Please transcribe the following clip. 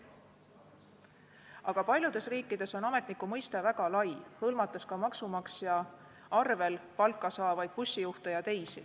Aga paljudes riikides on ametniku mõiste väga lai, hõlmates ka maksumaksja rahast palka saavaid bussijuhte ja teisi.